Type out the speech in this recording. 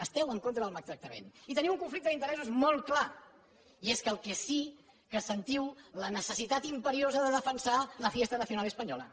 esteu en contra del maltractament i teniu un conflicte d’interessos molt clar i és que el que sí que sentiu la necessitat imperiosa de defensar la fiesta nacional española